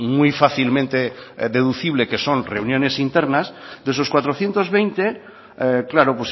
muy fácilmente deducibles que son reuniones internas de esos cuatrocientos veinte claro